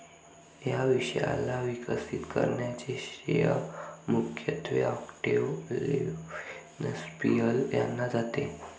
या विषयाला विकसित करण्याचे श्रेय मुख्यत्वे ऑक्टेव लेवेन्सपीएल यांना जाते.